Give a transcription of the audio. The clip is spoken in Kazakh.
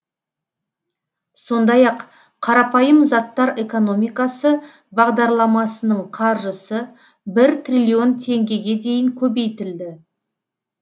сондай ақ қарапайым заттар экономикасы бағдарламасының қаржысы бір триллион теңгеге дейін көбейтілді